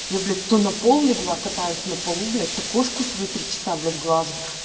я блять то на пол легла катаюсь на полу блять то кошку свою три часа блять глажу